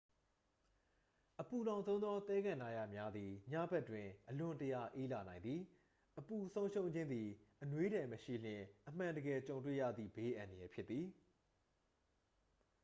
အပူလောင်ဆုံးသော သဲကန္တရများသည် ညဘက်တွင် အလွန်တရာ အေးလာနိုင်သည် အပူဆုံးရှုံးခြင်းသည် အနွေးထည်မရှိလျှင် အမှန်တကယ်ကြုံတွေ့ရသည့် ဘေးအန္တရာယ်ဖြစ်သည်